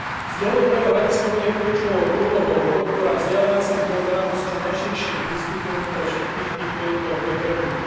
Z dlhodobého hľadiska bude kľúčovou úlohou podpora vzdelávacích programov s čo najširším prístupom pre všetkých tých, ktorí to potrebujú.